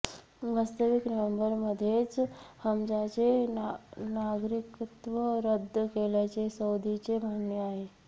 वास्तविक नोव्हेंबरमध्येच हमजाचे नागरिकत्व रद्द केल्याचे सौदीचे म्हणणे आहे